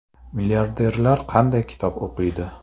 Milliarderlar qanday kitob o‘qiydi?